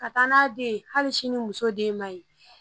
Ka taa n'a ye den hali sini muso den man ɲi